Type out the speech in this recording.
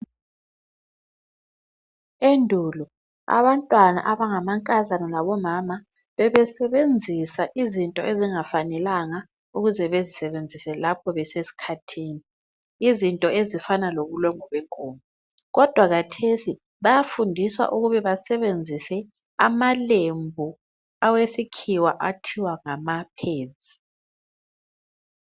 Endulo abantwana abangamankazana labomama bebesebenzisa izinto ezingafanelanga ukuze bezisebenzise lapho besesikhathini izinto ezifana lobulongwe benkomo, kodwa kathesi bayafundiswa ukube basebenzise amalembu awesikhiwa abizwa kuthiwa ngama-pads.